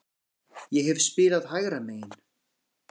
Ég hef spilað hægra megin.